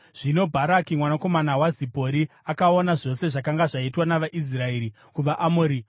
Zvino Bharaki mwanakomana waZipori akaona zvose zvakanga zvaitwa navaIsraeri kuvaAmori,